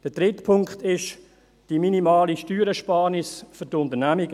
Der dritte Punkt ist die minimale Steuerersparnis für die Unternehmen.